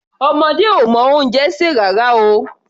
Ọmọdé ò mọ oúnjẹ sè rárá o.